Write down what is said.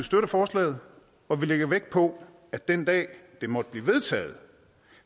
støtter forslaget og vi lægger vægt på at den dag det måtte blive vedtaget